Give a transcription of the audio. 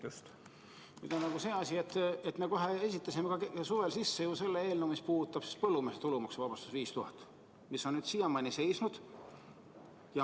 Nüüd on see asi, et me esitasime suvel ju ka selle eelnõu, mis puudutab põllumeeste tulumaksuvabastust 5000 eurot, mis on siiamaani seisnud.